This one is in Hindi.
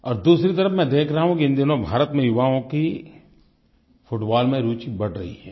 और दूसरी तरफ़ मैं देख रहा हूँ कि इन दिनों भारत में युवाओं की फुटबॉल में रूचि बढ़ रही है